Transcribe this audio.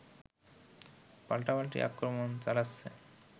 পাল্টাপাল্টি আক্রমণ চালাচ্ছে